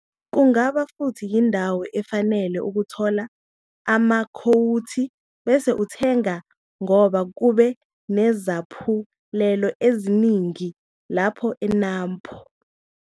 Kungaba futhi yindawo efanele ukuthola amakhowuthi bese uthenga ngoba kube nezaphulelo eziningi lapho eNAMPO.